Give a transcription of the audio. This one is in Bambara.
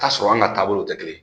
Ka sɔrɔ an ka taabolow tɛ kelen ye